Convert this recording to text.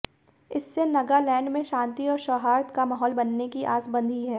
इससे नगालैंड में शांति और सौहार्द का माहौल बनने की आस बंधी है